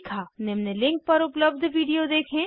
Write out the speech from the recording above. निम्न लिंक पर उपलब्ध वीडिओ देखें